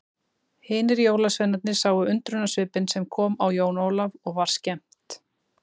Hinir jólasveinarnir sáu undrunarsvipinn sem kom á Jón Ólaf og var skemmt.